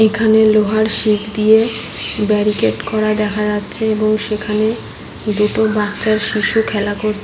এখানে লোহার শিক দিয়ে ব্যারিকেট করা দেখা যাচ্ছে এবং সেখানে দুটো বাচ্চা শিশু খেলা কর --